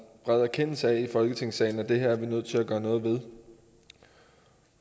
bred erkendelse af i folketingssalen at det her er vi nødt til at gøre noget ved